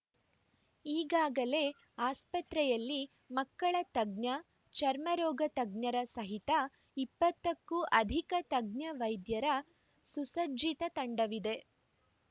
ಈಗಾಗಲೇ ಆಸ್ಪತ್ರೆಯಲ್ಲಿ ಮಕ್ಕಳ ತಜ್ಞ ಚರ್ಮರೋಗ ತಜ್ಞರ ಸಹಿತ ಇಪ್ಪತ್ತ ಕ್ಕೂ ಅಧಿಕ ತಜ್ಞ ವೈದ್ಯರ ಸುಸ್ರಚ್ಚಿತ ತಂಡವಿದೆ